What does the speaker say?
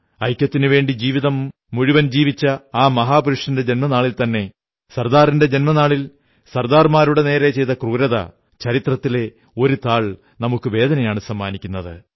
ഐക്യത്തിനുവേണ്ടി ജീവിതം മുഴുവൻ ജീവിച്ച ആ മഹാപുരുഷന്റെ ജന്മനാളിൽത്തന്നെ സർദാറിന്റെ ജന്മനാളിൽ സർദാർമാരുടെ നേരെ ചെയ്ത ക്രൂരത ചരിത്രത്തിലെ ഒരു താൾ നമുക്ക് വേദനയാണു സമ്മാനിക്കുന്നത്